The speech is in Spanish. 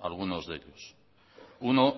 algunos de ellos uno